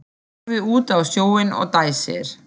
Horfir út á sjóinn og dæsir.